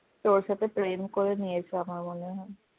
তোর সাথে প্রেম করে নিয়েছে আমার মনে হয়